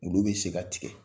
Olu bɛ se ka tigɛ.